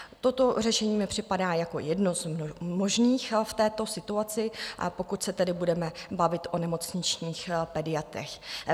Toto řešení mi připadá jako jedno z možných v této situaci, pokud se tedy budeme bavit o nemocničních pediatrech.